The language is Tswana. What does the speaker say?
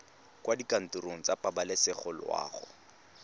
kwa dikantorong tsa pabalesego loago